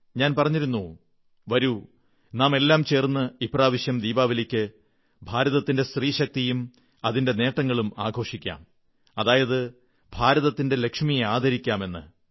ഞാൻ പറഞ്ഞിരുന്നു വരൂ നാമുക്കെല്ലാം ചേർന്ന് ഇപ്രാവശ്യം ദീപാവലിക്ക് ഭാരതത്തിന്റെ സ്ത്രീശക്തിയും അതിന്റെ നേട്ടങ്ങളും ആഘോഷിക്കാം അതായത് ഭാരതത്തിന്റെ ലക്ഷ്മിയെ ആദരിക്കാം എന്ന്